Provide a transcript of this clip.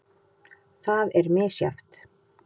Það er misjafnt.